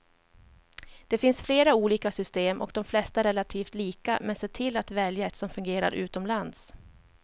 Det finns flera olika system och de flesta är relativt lika, men se till att välja ett som fungerar utomlands.